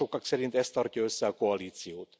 Sokak szerint ez tartja össze a koalíciót.